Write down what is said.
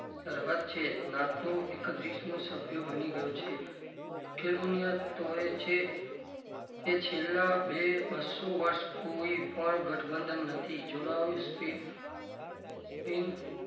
સરહદ છે નાટુ એક્ત્રીસમુ સભ્ય બની ગયું છે લખેલું તોય છે કે છેલ્લાં બે બસ્સો વર્ષ કોઈ પણ ગઠબંધન નથી જોડાવી spin spin